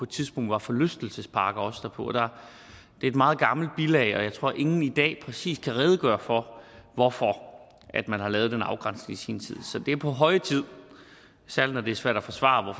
tidspunkt var forlystelsesparker også derpå det er et meget gammelt bilag og jeg tror at ingen i dag præcis kan redegøre for hvorfor man har lavet den afgrænsning i sin tid så det er på høje tid særlig når det svært at forsvare